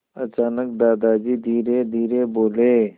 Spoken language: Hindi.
अचानक दादाजी धीरेधीरे बोले